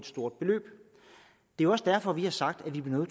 stort beløb det er også derfor vi har sagt at vi bliver